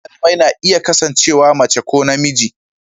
Shugaban malamai na iya kasancewa mace ko namiji.